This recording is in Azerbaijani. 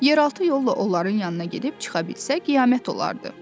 Yeraltı yolla onların yanına gedib çıxa bilsək qiyamət olardı.